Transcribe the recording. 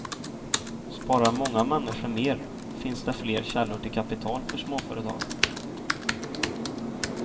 Sparar många människor mer finns det fler källor till kapital för småföretagen.